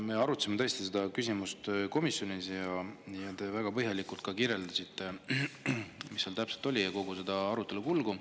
Me arutasime tõesti seda küsimust komisjonis ja te praegu väga põhjalikult kirjeldasite, mis seal täpselt oli, kogu seda arutelu kulgu.